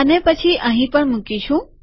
અને પછી અહીં પણ મુકીશું